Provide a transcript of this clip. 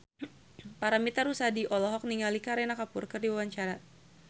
Paramitha Rusady olohok ningali Kareena Kapoor keur diwawancara